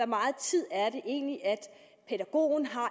meget tid det egentlig er pædagogen har